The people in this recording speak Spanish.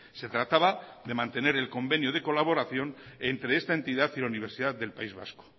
se trataba de mantener el convenio de colaboración entre esta entidad y la universidad del país vasco